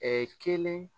kelen